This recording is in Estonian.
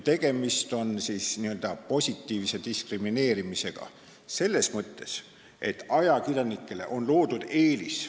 Tegemist on n-ö positiivse diskrimineerimisega selles mõttes, et ajakirjanikele on loodud eelis.